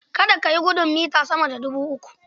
Kada ka yi gudun mita sama dubu uku.